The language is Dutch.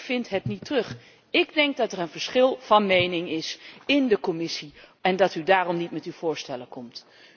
Ik vind het niet terug. Ik denk dat er een verschil van mening is in de Commissie en dat u daarom niet met uw voorstellen komt.